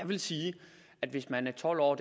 vil sige at hvis man er tolv år